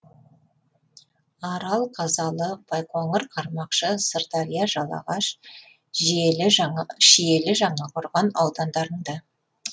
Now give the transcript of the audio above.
арал қазалы байқоңыр қармақшы сырдария жалағаш шиелі жаңақорған аудандарында